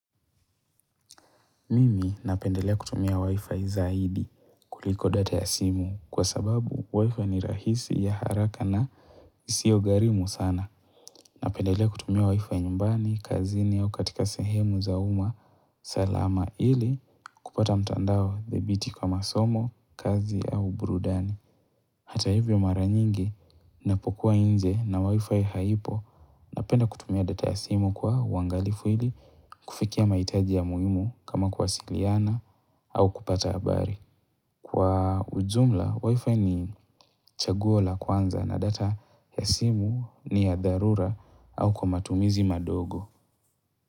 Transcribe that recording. Mimi napendelea kutumia wifi zaidi kuliko data ya simu kwa sababu wifi ni rahisi ya haraka na zisio garimu sana. Napendelea kutumia wifi nyumbani, kazini au katika sehemu zauma, salama ili kupata mtandao dhabiti kwa masomo, kazi au burudani. Hata hivyo mara nyingi napokuwa inje na wifi haipo na penda kutumia data ya simu kwa wangalifu hili kufikia maitaji ya muhimu kama kuwasiliana au kupata habari. Kwa ujumla, wifi ni chaguo la kwanza na data ya simu ni ya dharura au kwa matumizi madogo.